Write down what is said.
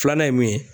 Filanan ye mun ye